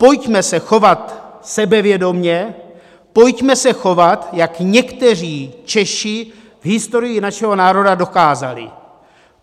Pojďme se chovat sebevědomě, pojďme se chovat, jak někteří Češi v historii našeho národa dokázali.